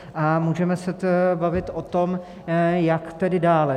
A můžeme se bavit o tom, jak tedy dále.